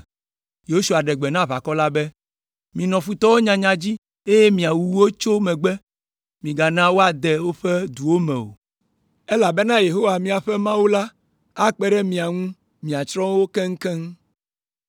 Yosua ɖe gbe na aʋakɔ la be, “Minɔ futɔwo nyanya dzi, eye miawu wo tso megbe; migana woade woƒe duwo me o, elabena Yehowa miaƒe Mawu akpe ɖe mia ŋu miatsrɔ̃ wo keŋkeŋ.”